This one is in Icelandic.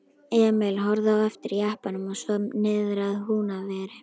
Emil horfði á eftir jeppanum og svo niðrað Húnaveri.